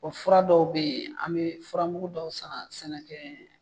Bɔ fura dɔw be ye an be furamugu dɔw san sɛnɛkɛɛ